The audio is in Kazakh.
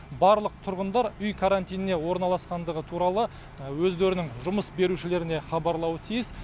барлық тұрғындар үй карантиніне орналасқандығы туралы өздерінің жұмыс берушілеріне хабарлауы тиіс